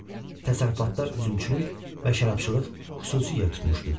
Təsərrüfatda üzümçülük və şərabçılıq xüsusi yer tutmuşdu.